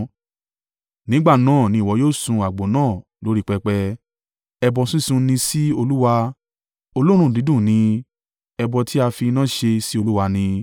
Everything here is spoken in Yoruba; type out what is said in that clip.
Nígbà náà ni ìwọ yóò sun àgbò náà lórí pẹpẹ. Ẹbọ sísun ni sí Olúwa, olóòórùn dídùn ni, ẹbọ ti a fi iná ṣe sí Olúwa ni.